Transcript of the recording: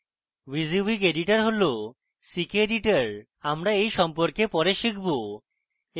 wysiwyg editor হল ckeditor আমরা এই সম্পর্কে পরে শিখব